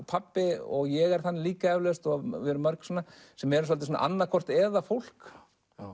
pabbi ég er þannig líka eflaust og við erum mörg svona sem erum svolítið annað hvort eða fólk